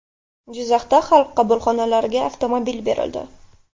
Jizzaxda Xalq qabulxonalariga avtomobil berildi.